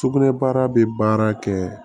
Sugunɛbara bɛ baara kɛ